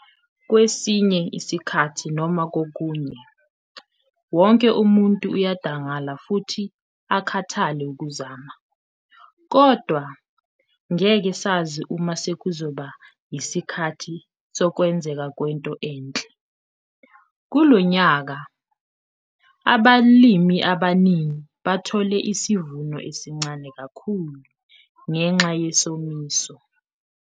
Kwesinye isikhathi noma kokunye, wonke umuntu uyadangala futhi akhathale ukuzama. Kodwa, ngeke sazi uma sekuzoba yisikhathi sokwenzeka kwento enhle. Kulo nyaka, abalimi abaningi bathole isivuno esincane kakhulu ngenxa yesomiso.